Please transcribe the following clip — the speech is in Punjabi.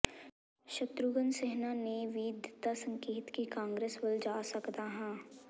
ਸ਼ਤਰੂਘਨ ਸਿਨ੍ਹਾ ਨੇ ਵੀ ਦਿੱਤਾ ਸੰਕੇਤ ਕਿ ਕਾਂਗਰਸ ਵੱਲ ਜਾ ਸਕਦਾ ਹਾਂ